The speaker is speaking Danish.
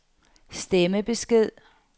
stemmebesked